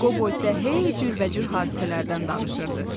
Qobo isə hey cürbəcür hadisələrdən danışırdı.